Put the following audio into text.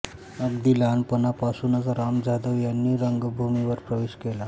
अगदी लहानपणापासूनच राम जाधव यांनी रंगभूमीवर प्रवेश केला